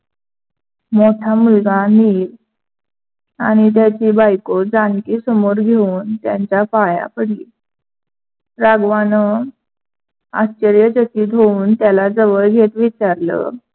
मोठा मुलगा निल आणि त्याची बायको जानकी समोर घेऊन त्यांच्या पाया पडली. राघवानं आश्चर्यचकित होऊन त्याला जवळ घेत विचारल.